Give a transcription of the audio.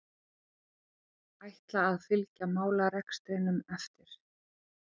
Ætla að fylgja málarekstrinum eftir